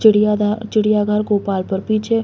चिड़िया धर चिड़िया घर गोपालपुर पीछे --